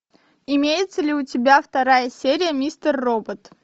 имеется ли у тебя вторая серия мистер робот